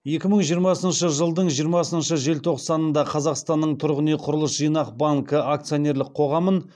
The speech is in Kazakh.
екі мың жиырмасыншы жылдың жиырмасыншы желтоқсанында қазақстанның тұрғын үй құрылыс жинақ банкі акционерлік қоғамын